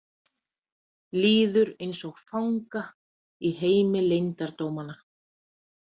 Líður eins og fanga í heimi leyndardómanna.